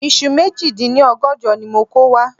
Iṣu méjì dín ní ọgọ́jọ ni mo kò wá